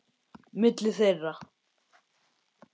Milli þeirra